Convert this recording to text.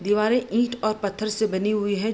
दीवारें ईट और पत्थर से बने हुए है।